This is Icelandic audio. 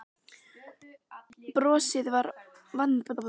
Brosir vandræðalegu brosi fyrir ofan hann og þreifar á dýrgripnum.